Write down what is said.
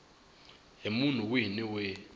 hi munhu wihi ni wihi